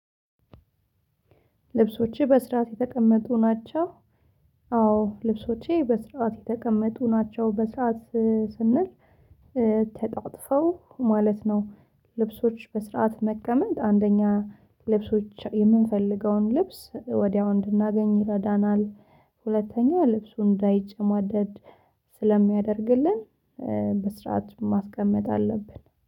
ልብሶቼ በስርዓት የተቀመጡ ናቸው። አዎ ልብሶቼ በስርዓት የተቀመጡ ናቸው በስርዓት ስንል ተጣጥፈው ማለት ነው። ልብሶች በስርዓት መቀመጥ አንደኛ ልብሶች የምንፈልገውን ልብስ ወዲያው እንድናገኝ ይረዳናል። ሁለተኛ ልብሱ እንዳይጨማደድ ስለሚያደርግልን። መስራት ማስቀመጥ አለብን